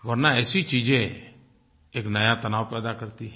वर्ना ऐसी चीज़ें एक नया तनाव पैदा करती हैं